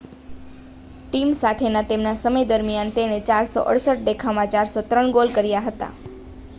team સાથેના તેમના સમય દરમિયાન તેણે 468 દેખાવમાં 403 ગોલ કર્યા હતા